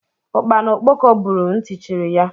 Ukpana okpoko buuru ntị chiri ya.